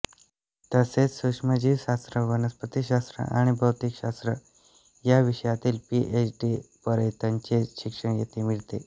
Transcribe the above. तसेच सुक्ष्मजीवशास्त्र वनस्पती शास्त्र आणि भौतिकशास्त्र या विषयातील पीएच डी पर्यंतचे शिक्षण येथे मिळते